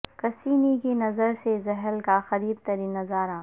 Cassini کی نظر سے زحل کا قریب ترین نظارہ